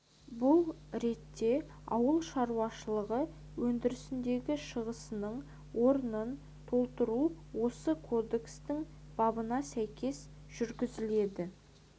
бұл ретте ауыл шаруашылығы өндірісіндегі шығасының орнын толтыру осы кодекстің бабына сәйкес жүргізіледі